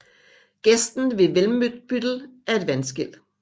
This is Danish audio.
Gesten ved Welmbüttel er et vandskel